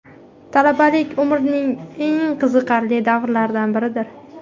Talabalik − umrning eng qiziqarli davrlaridan biridir.